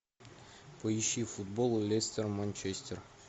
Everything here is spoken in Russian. поищи футбол лестер манчестер